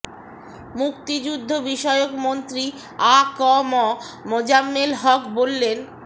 মুক্তিযুদ্ধ বিষয়ক মন্ত্রী আ ক ম মোজাম্মেল হক বললেন